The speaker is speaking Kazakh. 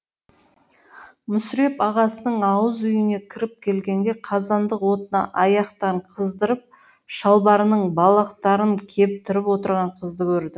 мүсіреп ағасының ауыз үйіне кіріп келгенде қазандық отына аяқтарын қыздырып шалбарының балақтарын кептіріп отырған қызды көрді